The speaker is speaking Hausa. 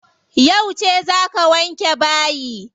Yauce za ka wanke bayi?